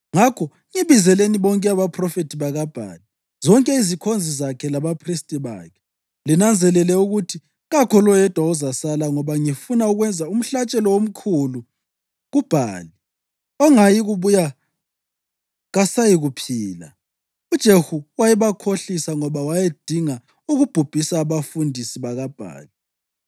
Ngakho ngibizelani bonke abaphrofethi bakaBhali, zonke izikhonzi zakhe labaphristi bakhe. Linanzelele ukuthi kakho loyedwa ozasala, ngoba ngifuna ukwenza umhlatshelo omkhulu kuBhali. Ongayikubuya kasayikuphila.” UJehu wayebakhohlisa ngoba wayedinga ukubhubhisa abafundisi bakaBhali.